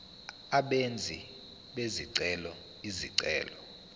abenzi bezicelo izicelo